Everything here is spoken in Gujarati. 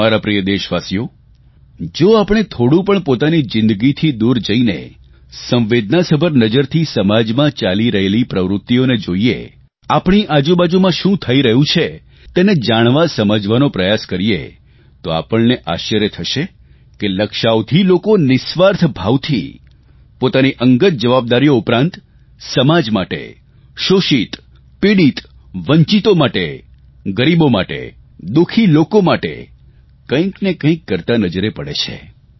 મારા પ્રિય દેશવાસીઓ જો આપણે થોડું પણ પોતાની જીંદગીથી દૂર જઇને સંવેદનાસભર નજરથી સમાજમાં ચાલી રહેલી પ્રવૃત્તિઓને જોઇએ આપણી આજુબાજુમાં શું થઇ રહ્યું છે તેને જાણવાસમજવાનો પ્રયાસ કરીએ તો આપણને આશ્ચર્ય થશે કે લક્ષાવધિ લોકો નિઃસ્વાર્થ ભાવથી પોતાની અંગત જવાબદારીઓ ઉપરાંત સમાજ માટે શોષિત પીડીત વંચિતો માટે ગરીબો માટે દુઃખી લોકો માટે કંઇને કંઇ કરતા નજરે પડે છે